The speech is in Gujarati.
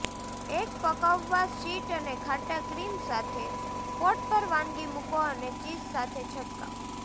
એક પકવવા શીટ અને ખાટા ક્રીમ સાથે કોટ પર વાનગી મૂકો અને ચીઝ સાથે છંટકાવ